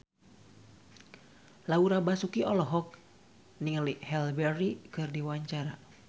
Laura Basuki olohok ningali Halle Berry keur diwawancara